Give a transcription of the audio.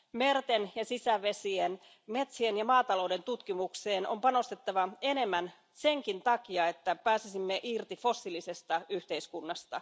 Merten ja sisävesien, metsien ja maatalouden tutkimukseen on panostettava enemmän senkin takia, että pääsisimme irti fossiilisesta yhteiskunnasta.